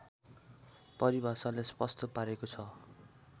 परिभाषाले स्पष्ट पारेको छ